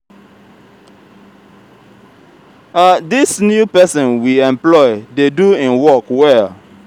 dis new person we employ dey do im work well